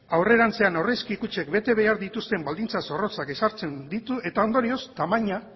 aurrerantzean aurrezki kutxek bete behar dituzten baldintzak zorrotzak ezartzen ditu eta ondorioz tamaina